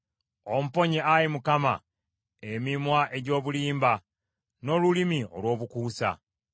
Omponye, Ayi Mukama , emimwa egy’obulimba, n’olulimi olw’obukuusa.